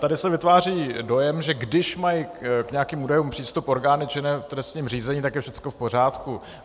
Tady se vytváří dojem, že když mají k nějakým údajům přístup orgány činné v trestním řízení, tak je všechno v pořádku.